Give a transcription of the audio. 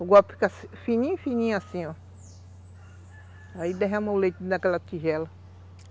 O golpe fica fininho, fininho assim, ó. Aí derrama o leite daquela tigela.